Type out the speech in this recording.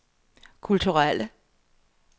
kulturelle